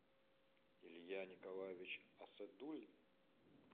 илья николаевич асадуллин